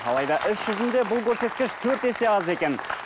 алайда іс жүзінде бұл көрсеткіш төрт есе аз екен